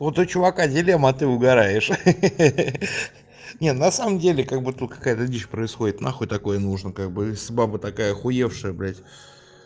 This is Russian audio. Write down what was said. вот у чувака дилемма а ты угораешь ха-ха не на самом деле как бы тут какая-то дичь происходит нахуй такое нужно как бы если баба такая охуевшая блять